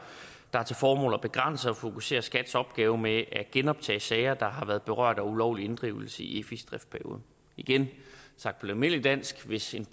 har til formål at begrænse og fokusere skats opgave med at genoptage sager der har været berørt af ulovlig inddrivelse i efis driftsperiode igen sagt på almindeligt dansk hvis en